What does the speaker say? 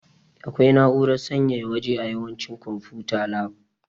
Akwai na'urar sanyaya waje a yawancin konfuta lab.